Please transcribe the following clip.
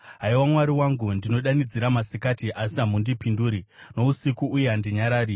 Haiwa Mwari wangu, ndinodanidzira masikati, asi hamundipinduri, nousiku, uye handinyarari.